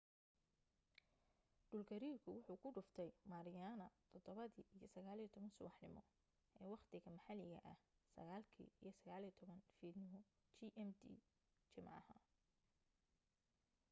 dhulgariirku wuxuu ku dhuftay mariana 07:19 subaxnimo ee waqtiga maxalliga ah 09:19 fiidnimo. gmt jimcaha